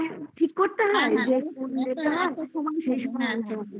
মানে ঠিক করতে হয় তোমাকে সেই সময় বলবো হা